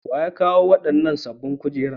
Wa ya kawo wannan sabon kujera?